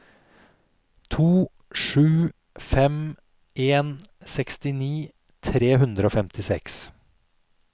to sju fem en sekstini tre hundre og femtiseks